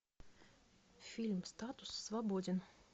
фильм статус свободен